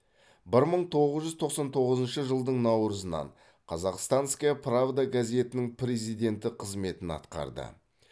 бір мың тоғыз жүз тоқсан тоғызыншы жылдың наурызынан казахстанская правда газетінің президенті қызметін атқарды